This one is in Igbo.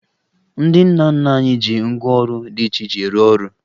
Ndị nna nna anyị ji ngwaọrụ dị iche iche rụọ ọrụ